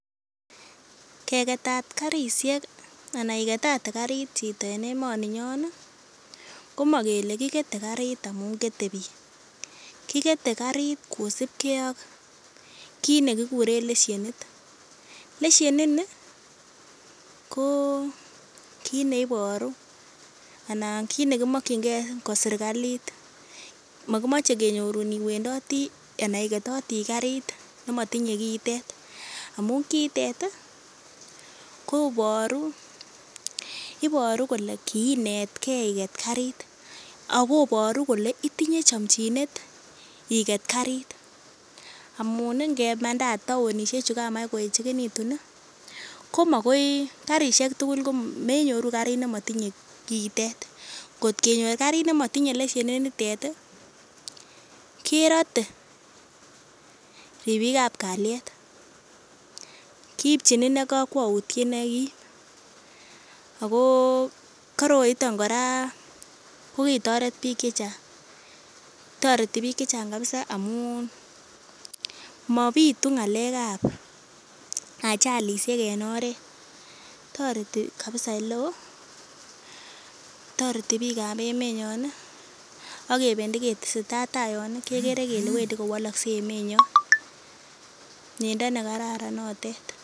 Ke ketat karisiek ana iketate karit chito en emoninyon ih komokele kikete karit amun kete biik, kikete karit kosibgee ak kit nekikuren leshenit, leshenini ko kit neiboru ana kit nekimokyingee ko sirkalit. Mokimoche kenyorun iwendotii ana iketotii karit nemotinye kiitet amun kiitet ih koboru iboru kole kiinetgee iket karit akoboru kole itinye chomchinet iket karit amun ih ngemandat taonisiek chu kamach koeechekitu ih komakoi karisiek tugul ko menyoru karit nemotinye kiitet. Kot kenyor karit nemotinye leshenit nitet ih kerote ribik ab kalyet, kiipchin inei kokwoutiet nekim ako koroiton kora kokitoret biik chechang. Toreti biik chechang kabisa amun mobitu ng'alek ab ajalisiek en oret, toreti kabisa eleoo toreti biik ab emenyon ih akebendi ketesetai taa yon ih kekere kele wendi kowolokse emenyon. Miendo nekararan notet.